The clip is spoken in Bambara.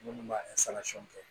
Minnu b'a kɛ